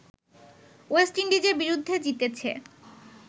West ইন্ডিজের বিরুদ্ধে জিতেছে